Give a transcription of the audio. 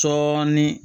Dɔɔnin